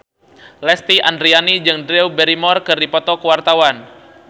Lesti Andryani jeung Drew Barrymore keur dipoto ku wartawan